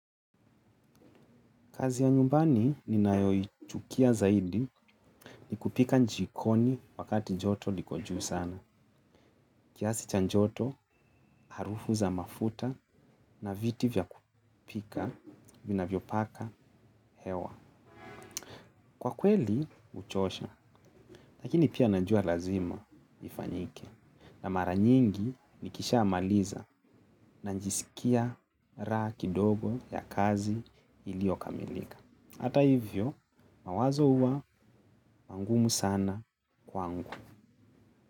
Kazi ya nyumbani ni nayoi chukia zaidi ni kupika jikoni wakati joto liko juu sana. Kiasi chajoto harufu za mafuta na viti vya kupika vina vyopaka hewa. Kwa kweli uchosha, lakini pia na jua lazima ifanyike. Na maranyingi nikisha amaliza na jisikia raha kidogo ya kazi ili yokamilika. Hata hivyo mawazo huwa mangumu sana kwangu.